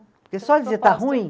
Porque só dizer está ruim?